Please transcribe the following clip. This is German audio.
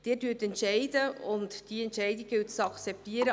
Sie entscheiden, und diese Entscheidung gilt es zu akzeptieren.